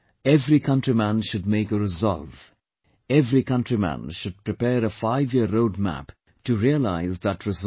Every countryman should make a resolve, every countryman should prepare a 5year roadmap to realise that resolve